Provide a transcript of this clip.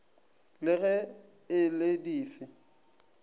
le ge e le dife